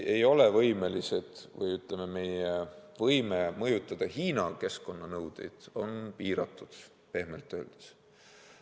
Meie võime mõjutada Hiina keskkonnanõudeid on piiratud – pehmelt öeldes.